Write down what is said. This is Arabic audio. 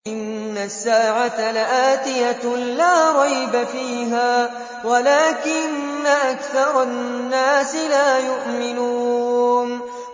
إِنَّ السَّاعَةَ لَآتِيَةٌ لَّا رَيْبَ فِيهَا وَلَٰكِنَّ أَكْثَرَ النَّاسِ لَا يُؤْمِنُونَ